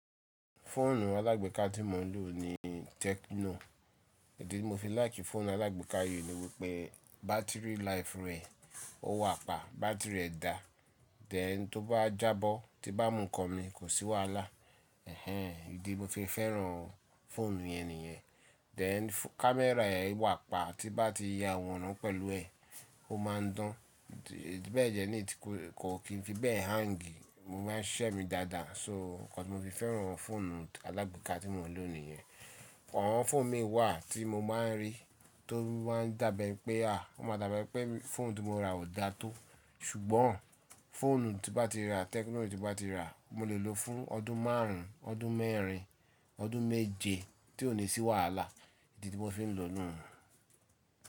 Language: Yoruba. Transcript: Fóònù alágbeeka tí mò ń lò ni Tecno. Idí tí mo fi láìkì fóònù alágbeeka yìí ni wípé battery life rẹ̀ ó wà pa. Battery rẹ̀ da. Théń tí ó bá jábọ́, tí n bá mú ńnkan mi kò sí wàhálà. Ẹ̀hẹn! Idí tí mo se fẹ́ràn fóònù yẹn nìyẹn. Théń camera ẹ̀ wà pa, tí n bá ti ya àwòrán pẹ̀lú ẹ̀, ó máa ń dán. Bẹ́ẹ̀ dẹ ni, kò ki n fi bẹ hang. Mo máa ń siṣẹ́ mi dáadáa. So nnkán tí mo fi fẹ́ràn fóònù alágbeeka tí mò ń lò nìyẹn. Awọ̀n fóònù mi wà tí mo máa ń rí, tó máa ń dàbi eni pé, ó máa dàbi eni pé fóònù tí mo ra ò da tó. Ṣùgbọ́n fóònù tí n bá ti ra, Tecno tí n bá ti ra, mo lè lò fún ọdún márùn-ún, ọdún mẹ́rin, ọdún méje tí ò ní sí wàhálà. Idí tí mo fi ń lò nu.